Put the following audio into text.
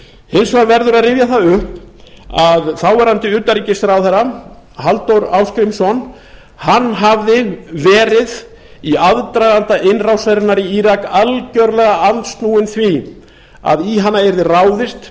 hins vegar verður að rifja það upp að þáverandi utanríkisráðherra halldór ásgrímsson hafði verið í aðdraganda innrásarinnar í írak algerlega andsnúinn því að í hana yrði ráðist